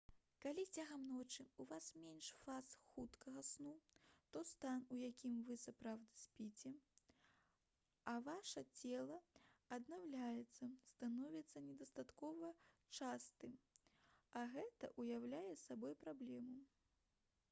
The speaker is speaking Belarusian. калі цягам ночы ў вас менш фаз хуткага сну то стан у якім вы сапраўды спіце а ваша цела аднаўляецца становіцца недастаткова частым а гэта ўяўляе сабой праблему